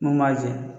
Mun b'a jɛ